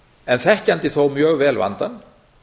en þekkjandi þó mjög vel vandann